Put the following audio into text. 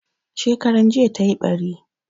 Shekaran jiya tayi ɓari.